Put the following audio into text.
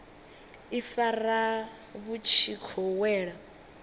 ifara vhu tshi khou wela